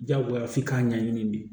Diyagoya f'i k'a ɲɛɲini de